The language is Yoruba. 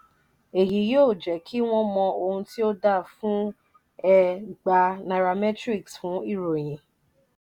eyi yí ọ je ki wọn mo ohun ti o da fún ẹ gba nairametrics fún ìròyìn.